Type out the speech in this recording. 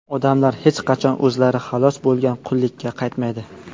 Odamlar hech qachon o‘zlari xalos bo‘lgan qullikka qaytmaydi.